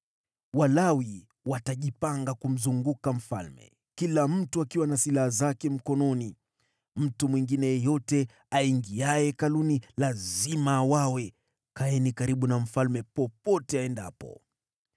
Walawi watajipanga kumzunguka mfalme, kila mtu akiwa na silaha zake mkononi. Mtu mwingine yeyote aingiaye Hekaluni lazima auawe. Kaeni karibu na mfalme popote aendapo.”